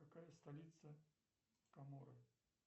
какая столица коморы